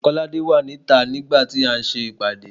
Kolade wà ní ìta nigba ti a n se ìpàdé